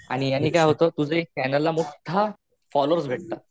आणि याने काय होत तुझ्या चॅनेल ला एक मोठ्ठा फोल्लोवर्स भेटता.